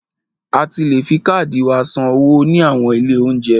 A ti le fi káàdì wa san owó ní àwọn ilé óúnjẹ.